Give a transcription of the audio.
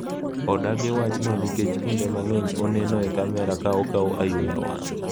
Odagi wachno nikech kinde mang’eny oneno e kamera ka okawo ayula wang'.